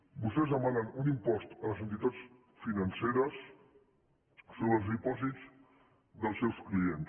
vostès demanen un impost a les entitats financeres sobre els dipòsits dels seus clients